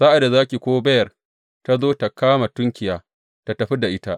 Sa’ad da zaki ko beyar ta zo ta kama tunkiya, ta tafi da ita.